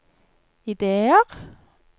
ideer